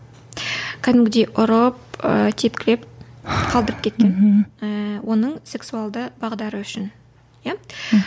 кәдімгідей ұрып ы тепкілеп талдырып кеткен ііі оның сексуалды бағдары үшін иә